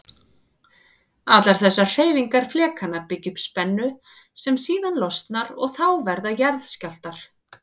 Allar þessar hreyfingar flekanna byggja upp spennu sem síðan losnar og þá verða jarðskjálftar.